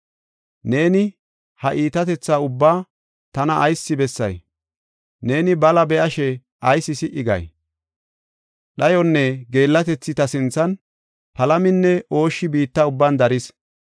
Neeni ha iitatetha ubbaa tana ayis bessay? Neeni bala be7ashe ayis si77i gay? Dhayoynne geellatethi ta sinthana; palaminne ooshshi biitta ubban daris.